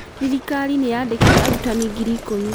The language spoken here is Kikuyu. Thirikari nĩ yaandĩkĩte arutani ngiri ikũmi.